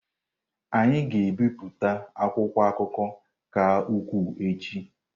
Anyị ga-ebipụta akwụkwọ akụkọ ka ukwuu echi.